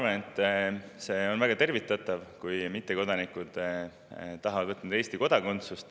Ma arvan, et see on väga tervitatav, kui mittekodanikud tahavad võtta Eesti kodakondsust.